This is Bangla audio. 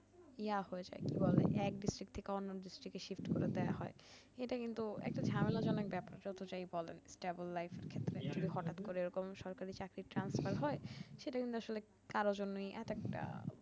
ইয়া হয়ে যায় কি বলে এক district থেকে অন্য districtshift করে দেইয়া হয় এইটা কিন্তু একটা ঝামেলাজনক ব্যাপার যত যাই বলেন stable life থেকে হঠাৎ করে এরকম সরকারি চাকরির transfer হয় সেইটা কিন্তু আসলে কারো জন্য এত একটা